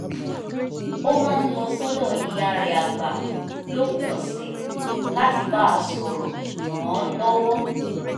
ó máa ń lọ sọ́dọ̀ ìyá rẹ̀ àgbà lópin ọ̀sẹ̀ láti bá a sọ̀rọ̀ ràn án lọ́wọ́